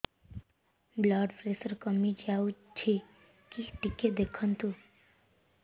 blood pressure କମି ଯାଉଛି କି ଟିକେ ଦେଖନ୍ତୁ